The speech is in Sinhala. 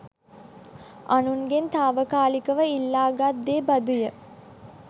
අනුන්ගෙන් තාවකාලිකව ඉල්ලාගත් දේ බඳු ය.